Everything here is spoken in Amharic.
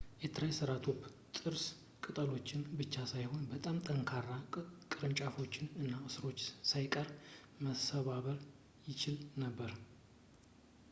የ ትራይሰራፕቶፕ ጥርስ ቅጠሎችን ብቻ ሳይሆን በጣም ጠንካራ ቅርንጫፎችን እና ሥሮችን ሳይቀር መሰባበር ይችል ነበር